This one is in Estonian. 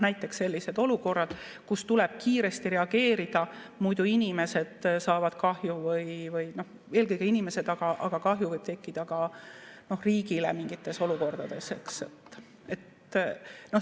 Näiteks sellised olukorrad, kus tuleb kiiresti reageerida, muidu inimesed saavad kahju – eelkõige inimesed, aga kahju võib tekkida ka riigile mingites olukordades.